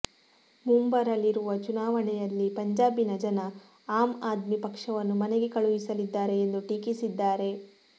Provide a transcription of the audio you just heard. ಮುಂಬರಲಿರುವ ಚುನಾವಣೆಯಲ್ಲಿ ಪಂಜಾಬಿನ ಜನ ಆಮ್ ಆದ್ಮಿ ಪಕ್ಷವನ್ನು ಮನೆಗೆ ಕಳುಹಿಸಲಿದ್ದಾರೆ ಎಂದು ಟೀಕಿಸಿದ್ದಾರೆ